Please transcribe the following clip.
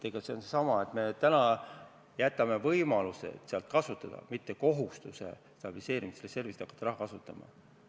See on seesama, et me täna jätame endale võimaluse stabiliseerimisreservi raha kasutada, mitte ei võta seda kohustust.